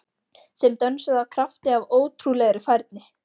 Sem dönsuðu af krafti- af ótrúlegri færni